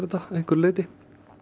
þetta að einhverju leyti